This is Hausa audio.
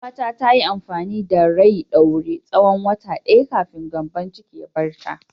Yar uwata ta yi amfani da rai ɗaure tsawon wata ɗaya kafin gyambon cikin ya bar ta.